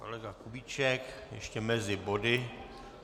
Kolega Kubíček ještě mezi body.